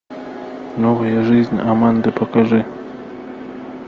новая жизнь аманды покажи